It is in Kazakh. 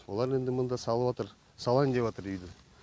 олар енді мында салыватыр салайын деватыр үйді